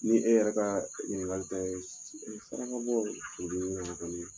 Ni e yɛrɛ ka ɲiningali tɛ, saraka bɔ olu ɲɔgɔnna kɔni